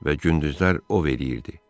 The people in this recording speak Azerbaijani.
Və gündüzlər ov eləyirdi.